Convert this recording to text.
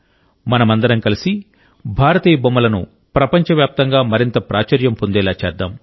మనమందరం కలిసి భారతీయ బొమ్మలను ప్రపంచవ్యాప్తంగా మరింత ప్రాచుర్యం పొందేలా చేద్దాం